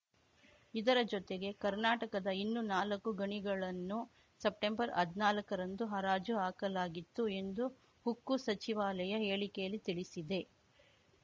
ಇದರ ಜೊತೆಗೆ ಕರ್ನಾಟಕದ ಇನ್ನೂನಾಲಕ್ಕು ಗಣಿಗಳನ್ನು ಸೆಪ್ಟೆಂಬರ್‌ ಹದ್ನಾಲ್ಕರಂದು ಹರಾಜು ಹಾಕಲಾಗಿತ್ತು ಎಂದು ಉಕ್ಕು ಸಚಿವಾಲಯ ಹೇಳಿಕೆಯಲ್ಲಿ ತಿಳಿಸಿದೆ